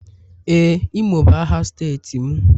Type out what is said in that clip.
Ee, imo bụ aha steeti m